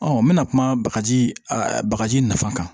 n bɛna kuma bagaji bagaji nafa kan